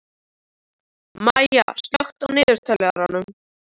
Maya, slökktu á niðurteljaranum.